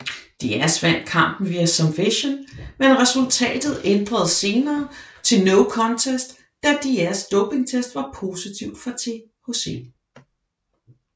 Diaz vandt kampen via submission men resultatet ændredes senere til no contest da Diaz dopingtest var positivt for THC